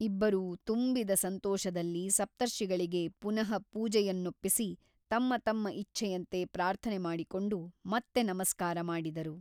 ಇಬ್ಬರೂ ತುಂಬಿದ ಸಂತೋಷದಲ್ಲಿ ಸಪ್ತರ್ಷಿಗಳಿಗೆ ಪುನಃಪೂಜೆಯನ್ನೊಪ್ಪಿಸಿ ತಮ್ಮ ತಮ್ಮ ಇಚ್ಛೆಯಂತೆ ಪ್ರಾರ್ಥನೆ ಮಾಡಿಕೊಂಡು ಮತ್ತೆ ನಮಸ್ಕಾರ ಮಾಡಿದರು.